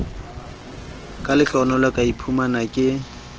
ka lehlohonolo ka iphumana ke